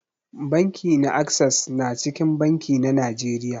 Banki na access na cikin banki na Najeriya.